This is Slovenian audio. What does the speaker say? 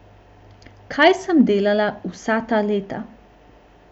Kaj sem delala vsa ta leta?